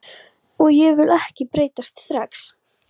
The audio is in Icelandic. Og ég vil ekki breytast strax.